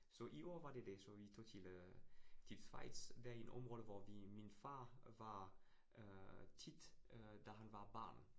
Så i år var det det. Så vi tog til øh til Schweiz det en område, hvor vi min far var øh tit øh da han var barn